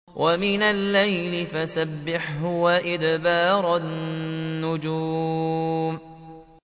وَمِنَ اللَّيْلِ فَسَبِّحْهُ وَإِدْبَارَ النُّجُومِ